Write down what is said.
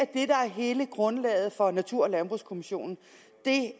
hele grundlaget for natur og landbrugskommissionen